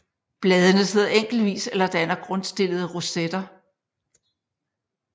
Bladene sidder enkeltvis eller danner grundstillede rosetter